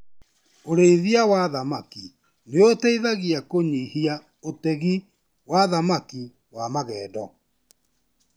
Urĩithia wa thamaki nĩ ũteithagia kũnyihia ũtegi wa thamaki wa magendo.